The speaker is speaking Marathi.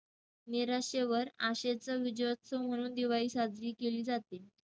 निराशेवर आशेचा विजय असतो, म्हणून दिवाळी साजरी केली जाते.